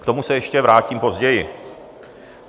K tomu se ještě vrátím později.